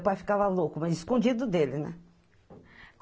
O pai ficava louco, mas escondido dele, né?